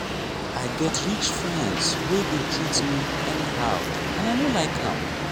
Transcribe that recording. i get rich friends wey dey treat me anyhow and i no like am.